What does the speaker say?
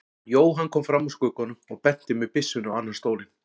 Jóhann kom fram úr skugganum og benti með byssunni á annan stólinn.